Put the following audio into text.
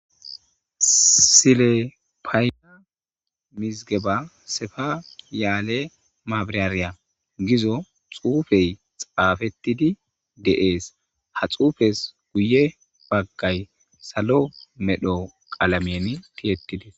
sile payina mizigeba sefa yaale maabirariya gizo xuufey xaafettidi deees ha xuufes guye baggay salo medho qalamien tiyettidis